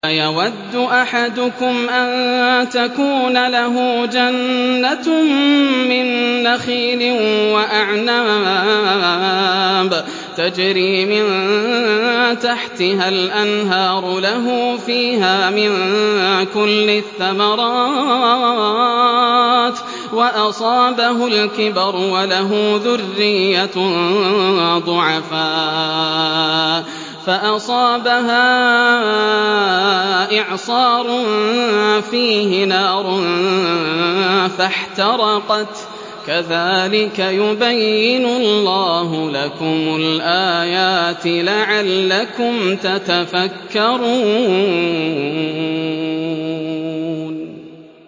أَيَوَدُّ أَحَدُكُمْ أَن تَكُونَ لَهُ جَنَّةٌ مِّن نَّخِيلٍ وَأَعْنَابٍ تَجْرِي مِن تَحْتِهَا الْأَنْهَارُ لَهُ فِيهَا مِن كُلِّ الثَّمَرَاتِ وَأَصَابَهُ الْكِبَرُ وَلَهُ ذُرِّيَّةٌ ضُعَفَاءُ فَأَصَابَهَا إِعْصَارٌ فِيهِ نَارٌ فَاحْتَرَقَتْ ۗ كَذَٰلِكَ يُبَيِّنُ اللَّهُ لَكُمُ الْآيَاتِ لَعَلَّكُمْ تَتَفَكَّرُونَ